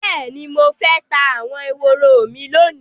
Bẹ́ẹ̀ni, mo fẹ́ ta àwọn ehoro mi lónìí